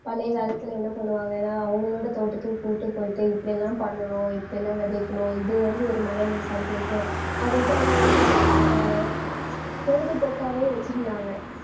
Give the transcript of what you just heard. பழைய காலத்துல என்ன பண்ணுவாங்க ஏன்னா அவங்களோட தோட்டத்துக்கு கூட்டிட்டு போயிட்டு இப்படியெல்லாம் பண்ணணும் இப்படியெல்லாம் விதைக்கணும் இது வந்து ஒரு மனநி~ சந்தோஷம். அது வந்து அவங்க ஒரு அஹ் பொழுதுபோக்காவே வச்சிருந்தாங்க